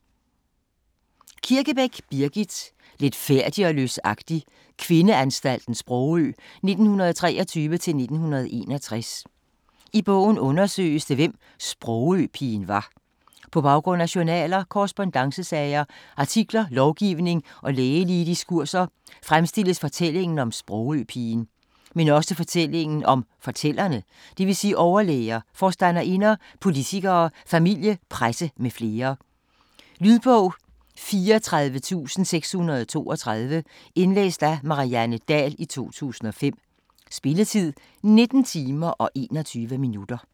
Kirkebæk, Birgit: Letfærdig og løsagtig - kvindeanstalten Sprogø 1923-1961 I bogen undersøges det hvem "Sprogø-pigen" var. På baggrund af journaler, korrespondancesager, artikler, lovgivning og lægelige diskurser, fremstilles fortællingen om "Sprogø-pigen". Men også fortællingen om fortællerne, d.v.s overlæger, forstanderinder, politikere, familie, presse m.fl. Lydbog 34632 Indlæst af Marianne Dahl, 2005. Spilletid: 19 timer, 21 minutter.